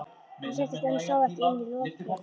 Hann settist en sá ekki inn í lokrekkjuna.